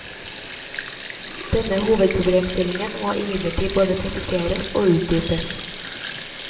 Denne hovedproblemstillingen må imidlertid både presiseres og utdypes.